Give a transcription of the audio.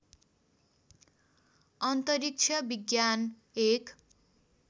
अन्तरिक्ष विज्ञान एक